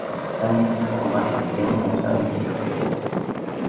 в центре стола сидел начальник